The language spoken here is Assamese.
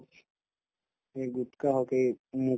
এই গুটকা হওক এই